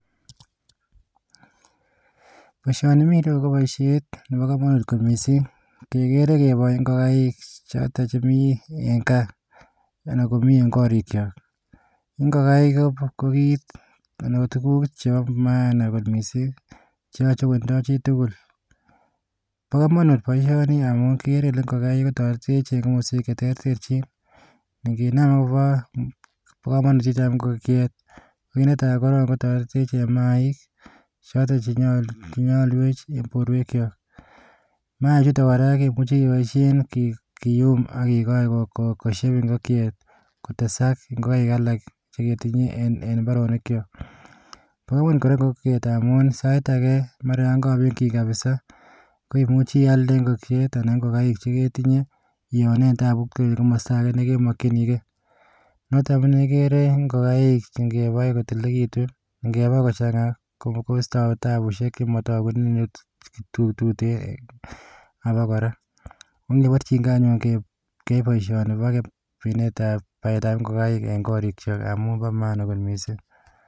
Boisioni mii yu ko boisiet nebo kamanut mising kigere keboe ngokaik chotok chemii eng gaa anan komii eng korikyok ngokaik ko kiit anan tuguk chebo maan mising cheyoche kotindoi chitugul bokamanut boisioni amu kigere kele ngokiet kotoretech eng boisiet cheterterchin nginam kobo bokamanut chechang ngokiet kiit netai koptoretech eng maaik chotok chenyalwech eng borwek chok maaichutok kora kemuchi keboisie kiyum akekoch kosyep ngokiet kotesak ngokaik alak cheketinye eng mbaronik chok kararan kora ngokiet amu sait ake mara yo kakobekyin kabisa koimuchi ialde ngokiet anan ko ngokaik cheitinye ionee tabut koek kimasta ake nekemakyinikei notok ko neikere ngokaik chekakibai kotililekitu ngebai kochanga koistoi tabusiek chematagu ako kora ongeborchi kei anyun keai boisioni bo baetab ngokaik eng korikchok amu bo maana kot mising